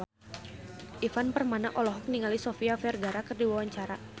Ivan Permana olohok ningali Sofia Vergara keur diwawancara